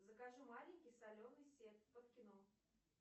закажи маленький соленый сет под кино